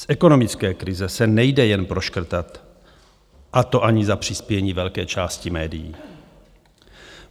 Z ekonomické krize se nejde jen proškrtat, a to ani za přispění velké části médií.